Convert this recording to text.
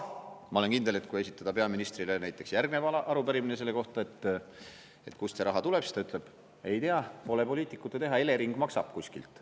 Ma olen kindel, et kui esitada peaministrile järgmine arupärimine näiteks selle kohta, kust see raha tuleb, siis ta ütleb: ei tea, pole poliitikute teha, Elering maksab kuskilt.